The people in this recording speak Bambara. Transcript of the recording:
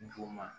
N juguman